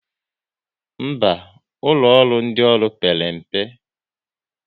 Mba, ụlọ ọrụ ndị ọrụ père mpe